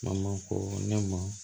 A ma ko ne ma